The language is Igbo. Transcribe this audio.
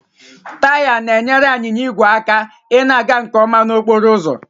Taya na-enyere anyịnya igwe aka ịna-aga nke ọma n'okporo ụzọ